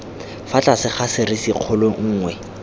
fa tlase ga serisikgolo nngwe